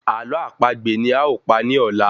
Ààlọ́ àpagbè ni a o pa ni ọ̀la!